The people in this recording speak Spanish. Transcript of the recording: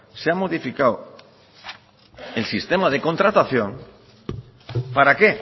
se ha modificado el sistema de contratación para qué